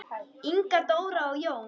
Inga Dóra og Jón.